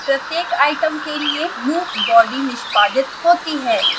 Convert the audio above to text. प्रत्येक आइटम के लिए loop body निष्पादित होती है